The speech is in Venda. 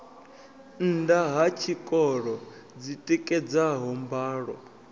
nnda ha tshikolo dzitikedzaho mbalo